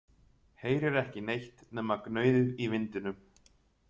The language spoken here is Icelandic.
Heyrir ekki neitt nema gnauðið í vindinum.